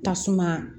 Tasuma